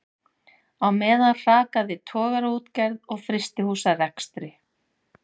Á meðan hrakaði togaraútgerð og frystihúsarekstri.